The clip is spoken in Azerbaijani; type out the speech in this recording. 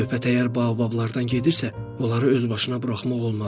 Söhbət əgər baobablardan gedirsə, onları özbaşına buraxmaq olmaz.